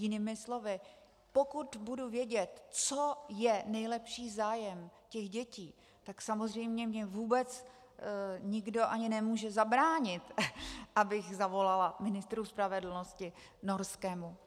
Jinými slovy, pokud budu vědět, co je nejlepší zájem těch dětí, tak samozřejmě mi vůbec nikdo ani nemůže zabránit, abych zavolala ministru spravedlnosti norskému.